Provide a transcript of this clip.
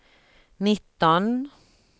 nitton